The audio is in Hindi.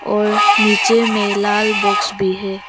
और नीचे में लाल बॉक्स भी है।